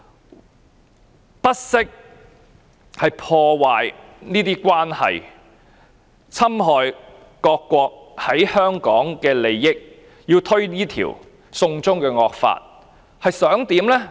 她不惜破壞這些關係，侵害各國在香港的利益，推動這條"送中"惡法，究竟想怎麼樣呢？